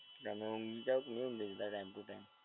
તમે ઊંઘી જાવ કે નહીં ઊંઘી જતાં ટાઈમ ટુ ટાઈમ?